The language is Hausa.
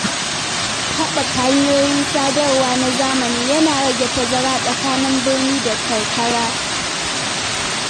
Haɓaka hanyoyin sadarwa na zamani yana rage tazara tsakanin birni da karkara.